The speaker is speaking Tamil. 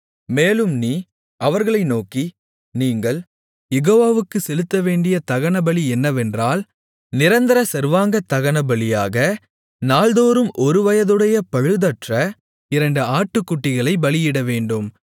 மேலும் நீ அவர்களை நோக்கி நீங்கள் யெகோவாவுக்குச் செலுத்தவேண்டிய தகனபலி என்னவென்றால் நிரந்தர சர்வாங்கதகனபலியாக நாள்தோறும் ஒருவயதுடைய பழுதற்ற இரண்டு ஆட்டுக்குட்டிகளைப் பலியிடவேண்டும்